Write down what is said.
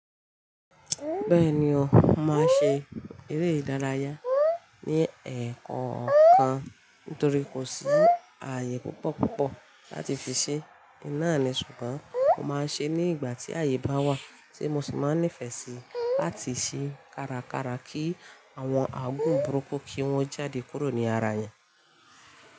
Bẹ́ẹ̀ni o, mo máa ń ṣe eré ìdárayá ní ẹ̀ẹ̀kan ọ̀kan nítorí kò sí ààyè púpọ̀púpọ̀ láti fi ṣe. Ìnáà ni, ṣùgbọ́n mo máa ń ṣe ní ìgbà tí ààyè bá wà tí mo sì máa ń nífẹ̀ẹ́ sí láti ṣe kárakára kí àwọn aagun burúkú kí wọ́n jáde kúrò ní ara èèyàn.